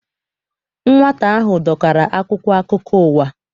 Nwata ahụ dọkara akwụkwọ akụkọ ụwa.